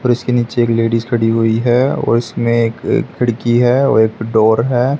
और उसके नीचे एक लेडीज खड़ी हुई है और उसमें एक खिड़की है औ एक डोर है।